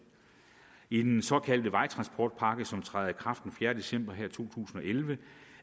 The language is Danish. i den såkaldte vejtransportpakke som trådte i kraft den fjerde december to tusind og elleve